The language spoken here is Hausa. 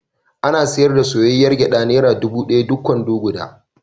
Ana sayar da soyayyr gyaɗa naira dubu ɗaya duk kwano guda.